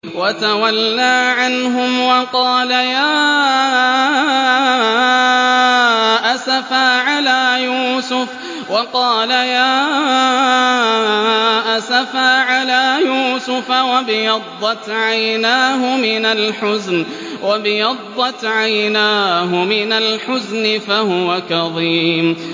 وَتَوَلَّىٰ عَنْهُمْ وَقَالَ يَا أَسَفَىٰ عَلَىٰ يُوسُفَ وَابْيَضَّتْ عَيْنَاهُ مِنَ الْحُزْنِ فَهُوَ كَظِيمٌ